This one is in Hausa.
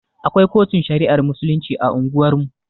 Akwai kotun shari'ar musulunci a unguwar mu